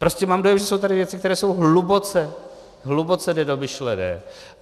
Prostě mám dojem, že jsou tady věci, které jsou hluboce, hluboce nedomyšlené.